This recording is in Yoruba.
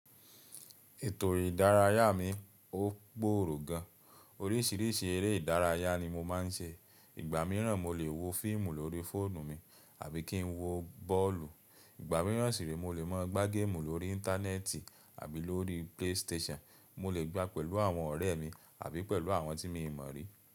Ètò ìdárayá mi ó gbòòrò gan. Orísìírísìí eré ìdárayá ni mo máa ń ṣe. Ìgbà mìíràn mo lè wo fíìmù lórí fóònù mi àbí kí n wo bọ́ọ̀lù. Ìgbà mìíràn sì re mo lè máa gbá géèmù lórí íńtánẹ́ẹ̀tì àbí lórí play station. Mo lè gbá pẹ̀lú àwọn ọ̀rẹ́ mi àbí pẹ̀lú àwọn tí mi ò mọ̀ rí.